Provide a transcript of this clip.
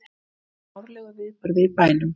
Er hún árlegur viðburður í bænum